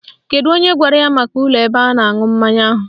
Kedu onye gwara ya maka ụlọ ebe a na-aṅụ mmanya ahụ?